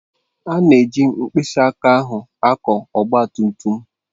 A na-eji mkpịsị aka ahụ akwọ ogba tum tum.